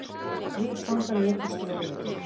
Þrír fangar létust í óeirðum